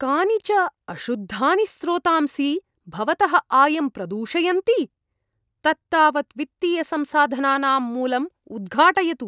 कानि च अशुद्धानि स्रोतांसि भवतः आयं प्रदूषयन्ति? तत्तावत् वित्तीयसंसाधनानां मूलम् उद्घाटयतु।